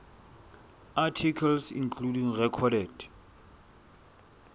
articles including recorded